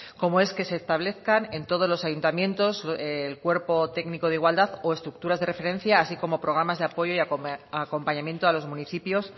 como es que se establezcan en todos los ayuntamientos el cuerpo técnico de igualdad o estructuras de referencia así como programas de apoyo y acompañamiento a los municipios